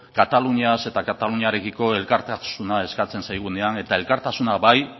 kataluniaz eta kataluniarekiko elkartasuna eskatzen zaigunean eta elkartasuna bai